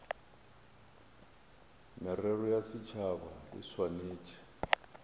merero ya setšhaba e swanetše